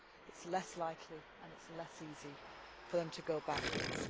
It is less likely and it is less easy for them to go backwards.